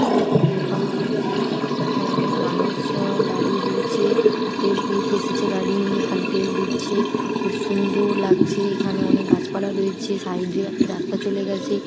এখানে একটি তেল পাম্প রয়েছে এখানে অনেক মানুষজন দাঁড়িয়ে রয়েছে তেল ভরতে এসেছে গাড়ি নিয়ে খালি তেল দিচ্ছে খুব সুন্দর লাগছে এখানে অনেক গাছপালা রয়েছে সাইড -এ একটা রাস্তা চলে গেছে।